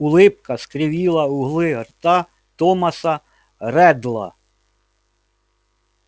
улыбка скривила углы рта томаса реддла